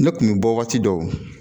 Ne kun bɛ bɔ waati dɔw